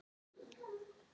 Þekkir þú Veru Hress?